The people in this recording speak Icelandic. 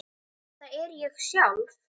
Þetta er ég sjálf.